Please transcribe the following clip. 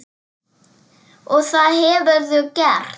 Og það hefurðu gert.